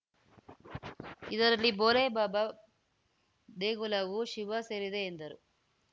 ಇದರಲ್ಲಿ ಭೋಲೆ ಬಾಬಾ ದೇಗುಲವೂ ಶಿವ ಸೇರಿದೆ ಎಂದರು